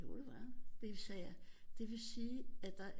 Jo det var han så sagde jeg det vil sige at der